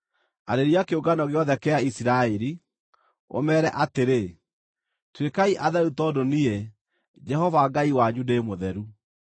“Arĩria kĩũngano gĩothe kĩa Isiraeli, ũmeere atĩrĩ, ‘Tuĩkai atheru tondũ niĩ, Jehova Ngai wanyu, ndĩ mũtheru.